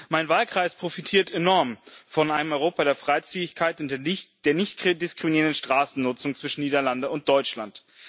Mein Wahlkreis profitiert enorm von einem Europa der Freizügigkeit und in der nicht diskriminierenden Straßennutzung zwischen Niederlande und Deutschland.